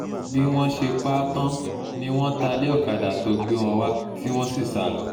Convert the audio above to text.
bí wọ́n ṣe pa á tán ni wọ́n ta lé ọ̀kadà tó gbé wọn wá tí wọ́n sì sá lọ